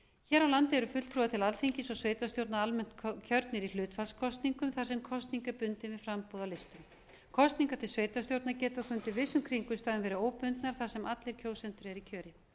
hér á landi eru fulltrúar til alþingis og sveitarstjórnar almennt kjörnir í hlutfallskosningum þar sem kosning er bundin við framboð á listum kosningar til sveitarstjórna geta þó undir vissum kringumstæðum verið óbundnar þar sem allir kjósendur eru í kjöri